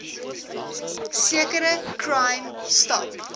sekere crime stop